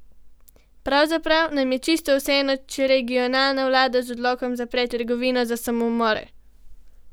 Pravzaprav nam je lahko čisto vseeno, če regionalna vlada z odlokom zapre Trgovino za samomore!